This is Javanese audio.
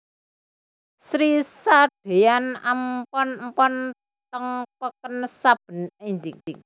Sri sadeyan empon empon teng peken saben enjing